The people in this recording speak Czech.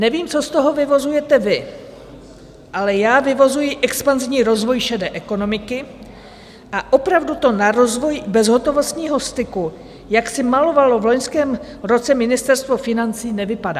Nevím, co z toho vyvozujete vy, ale já vyvozuji expanzivní rozvoj šedé ekonomiky a opravdu to na rozvoj bezhotovostního styku, jak si malovalo v loňském roce Ministerstvo financí, nevypadá.